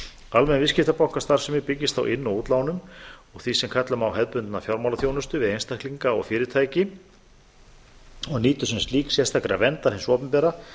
almenn viðskiptabankastarfsemi byggist á inn og útlánum og því sem kalla má hefðbundna fjármálaþjónustu við einstaklinga og fyrirtæki og nýtur sem slík sérstakrar verndar hins opinbera